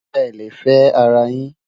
é lè fé ará yín